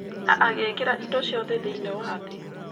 Na agĩĩkĩra indo ciothe thĩiniĩ wa thĩ.